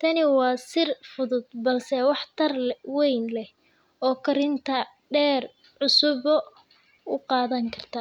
Tani waa sir fudud balse waxtar weyn leh oo karintaada heer cusub u qaadi karta.